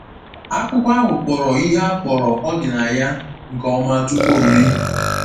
Akwụkwọ ahụ kpọrọ ihe a kpọrọ ọdịnaya nke ọma tupu o mee.